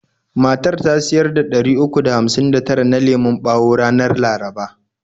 Matar ta siyar da ɗari uku da hamsin da tara na lemon bawo ranar laraba.